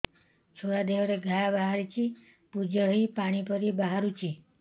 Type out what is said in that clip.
ଛୁଆ ଦେହରେ ଘା ବାହାରିଛି ପୁଜ ହେଇ ପାଣି ପରି ବାହାରୁଚି